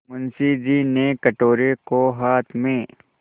मुंशी जी ने कटोरे को हाथ में